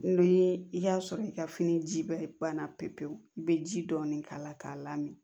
Ni i y'a sɔrɔ i ka fini ji bɛ ban na pewu pewu i bɛ ji dɔɔnin k'a la k'a lamini